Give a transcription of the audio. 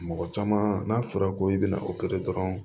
Mɔgɔ caman n'a fɔra ko i bɛna dɔrɔn